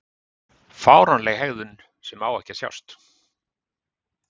Fáránleg hegðun sem á ekki að sjást.